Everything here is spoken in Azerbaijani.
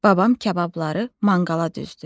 Babam kababları manqala düzdü.